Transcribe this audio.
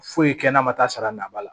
Foyi kɛnɛ kɛnɛ ma taa sara naba la